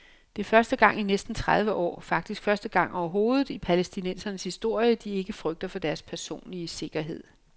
Det er første gang i næsten tredive år, faktisk første gang overhovedet i palæstinensernes historie, de ikke frygter for deres personlige sikkerhed.